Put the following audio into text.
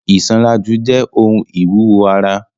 Isanraju jẹ ohun iwuwo ara.